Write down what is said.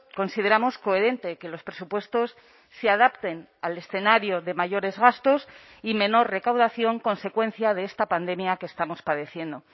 consideramos coherente que los presupuestos se adapten al escenario de mayores gastos y menor recaudación consecuencia de esta pandemia que estamos padeciendo